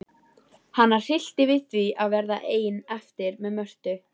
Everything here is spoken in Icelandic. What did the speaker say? Hana hryllti við því að verða ein eftir með Mörtu.